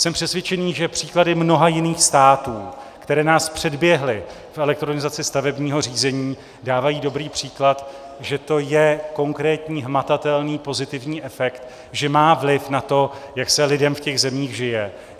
Jsem přesvědčený, že příklady mnoha jiných států, které nás předběhly v elektronizaci stavebního řízení, dávají dobrý příklad, že to je konkrétní, hmatatelný pozitivní efekt, že má vliv na to, jak se lidem v těch zemích žije.